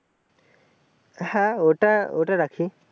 হ্যাঁ ওটা ওটা রাখি ।